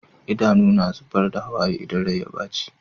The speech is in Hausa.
Idanu na zubar da hawaye idan Rai ya baci